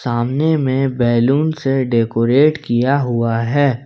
आमने में बैलून से डेकोरेट किया हुआ है।